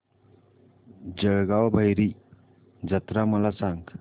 जळगाव भैरी जत्रा मला सांग